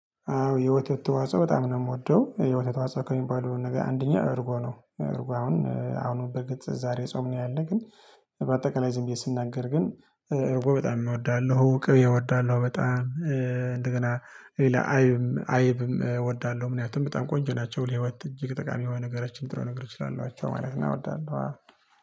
አዎ የወተት ተዋጽኦ በጣም ነው የምወደው የወተት ተዋጽኦ ከሚባለው ነገር አንደኛ እርጎ ነው እርጎ አሁን አሁን በግልጽ ዛሬ ጾም ነው ያለ ግን። በአጠቃላይ ዝም ብዬ ስናገር ግን እርጎ በጣም እወዳለሁ ቅቤ እወዳለሁ በጣም። እንደገና ሌላ አይብም አይብም እወዳለሁ ምክንያቱም በጣም ቆንጆ ናቸው። ለህይወት እጅግ ጠቃሚ የሆነ ነገሮችን ንጥረ ነገሮች ስላሉዋቸው ማለት ነው። እወዳለሁ አዎ